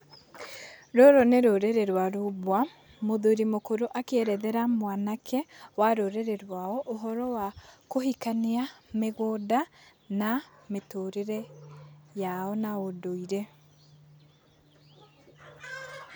Rũrũ nĩ rũrĩrĩ rwa rumbwa. Mũthuri mũkũrũ akĩerethera mwanake wa rũrĩrĩ rwao ũhoro wa kũhikania, mĩgũnda na mĩtũrĩre yao na ũndũire.